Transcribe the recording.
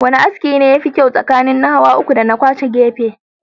Wane aski ne yafi kyau tsakanin hawa uku dana kwashe gefe?